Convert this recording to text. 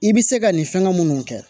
I bɛ se ka nin fɛnŋɛ munnu kɛ